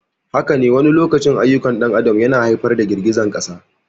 Haka ne, wani lokacin ayyukan ɗan adam yana haifar da girgizar ƙasa.